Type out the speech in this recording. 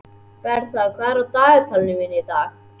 Bertha, hvað er í dagatalinu mínu í dag?